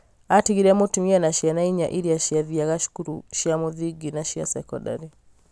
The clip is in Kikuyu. Atigire mũtumia na ciana inya iria ciathiaga cukuru cia mũthingi na cia sekondarĩ.